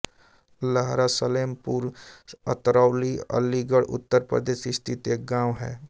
लहरा सलेमपुर अतरौली अलीगढ़ उत्तर प्रदेश स्थित एक गाँव है